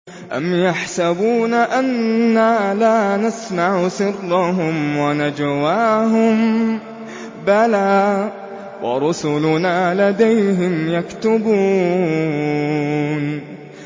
أَمْ يَحْسَبُونَ أَنَّا لَا نَسْمَعُ سِرَّهُمْ وَنَجْوَاهُم ۚ بَلَىٰ وَرُسُلُنَا لَدَيْهِمْ يَكْتُبُونَ